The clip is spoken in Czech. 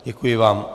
Děkuji vám.